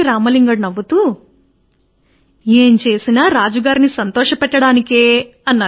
తెనాలి రామ లింగడు నవ్వుతూ అన్నాడు ఎవరైనా రాజుగారిని ఎందుకు సంతోషపెట్టలేదో